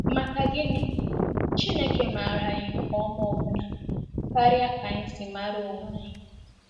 Maka gini, Chineke maara anyị nke ọma ọbụna karịa ka anyị si mara onwe anyị!